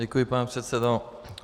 Děkuji, pane předsedo.